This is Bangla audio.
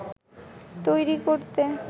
তৈরি করতে